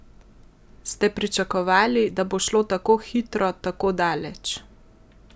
Ste pričakovali, da bo šlo tako hitro tako daleč?